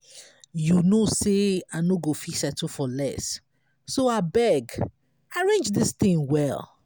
you no say me i nọ go fit settle for less so abeg arrange dis thing well.